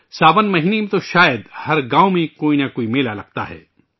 ساون ماہ میں تو شاید ہر گاوں میں کوئی نہ کوئی میلا لگتا ہے